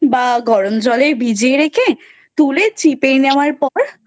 গরম জলে ভিজিয়ে রেখে তুলে চিপে নেওয়ার পর